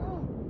O, o!